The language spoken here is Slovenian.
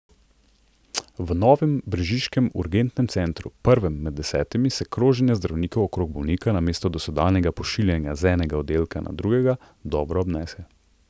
V novem brežiškem urgentnem centru, prvem med desetimi, se kroženje zdravnikov okrog bolnika namesto dosedanjega pošiljanja z enega oddelka na drugega dobro obnese.